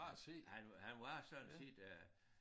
Han han var sådan set øh